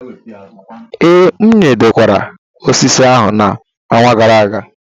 Ee, m nyadokwara osisi ahụ n'ọnwa gara aga.